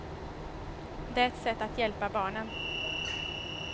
Det är ett sätt att hjälpa barnen.